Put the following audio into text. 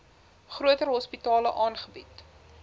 groter hospitale aangebied